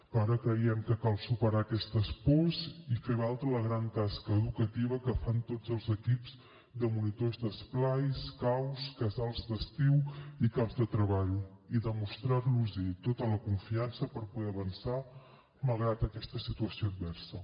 però ara creiem que cal superar aquestes pors i fer valdre la gran tasca educativa que fan tots els equips de monitors d’esplais caus casals d’estiu i camps de treball i demostrar los tota la confiança per poder avançar malgrat aquesta situació adversa